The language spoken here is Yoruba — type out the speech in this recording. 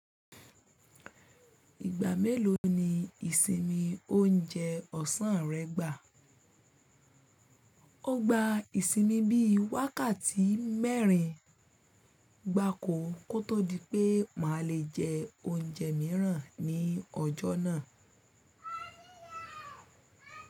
Ìgbà mélòó ni ìsinmi oúnjẹ ọ̀sán rẹ gbà? Ó gba ìsinmi bí i wákàtí mẹ́rin, gbákò kó tó di pé mà le jẹ oúnjẹ mìíràn ní ọjọ́ náà.